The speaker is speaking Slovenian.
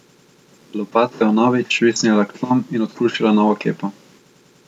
Lopata je vnovič švistnila k tlom in odkrušila novo kepo.